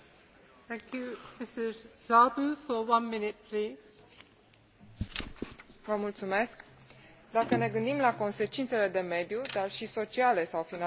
Dacă ne gândim la consecințele de mediu, dar și sociale sau financiare ale distrugerii biodiversității, nu avem voie să subestimăm importanța viitoarei conferințe de la Nagoya.